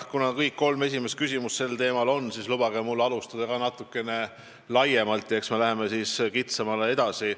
Kuna kõik kolm esimest küsimust on sel teemal, siis lubage mul alustada natukene laiemalt ja siis liigume kitsamale alale edasi.